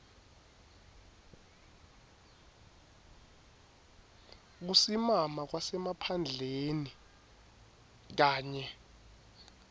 kusimama kwasemaphandleni kanye